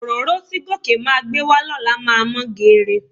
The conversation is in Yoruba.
Òróró tí Gòkè máa gbé wá lọ́la máa mọ́ geere.